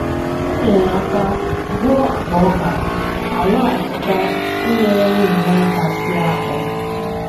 M nyere aka buo akpa ọka, ha lọghachita inyere nwunye m aka sie akpụ